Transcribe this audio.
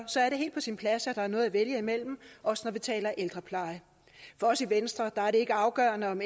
er det helt på sin plads at der er noget at vælge imellem også når vi taler ældrepleje for os i venstre er det ikke afgørende om